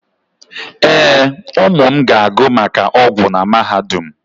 Ee, ụmụ m ga-agụ maka ọgwụ na mahadum.